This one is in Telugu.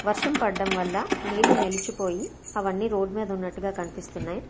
వర్షం పడడం వల్ల నీళ్ళు నెలిచి పోయి అవన్నీ రోడ్డు మీద ఉన్నట్టుగా కనిపిస్తున్నాయ్.